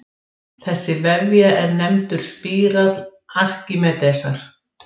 Þessi vefja er nefndur spírall Arkímedesar.